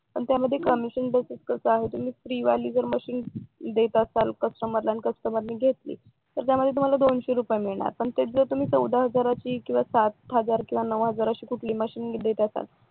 पण त्यामध्ये commission basis free वाली मशीन देत असाल कस्टमर ला आणि कस्टमरने घेतली तर तुम्हाला दोनशे रुपये मिळणार पण तेच जर तुम्ही चौदा हजारांची किंवा सात हजार नऊ हजार अशी कुठली मशीन दिली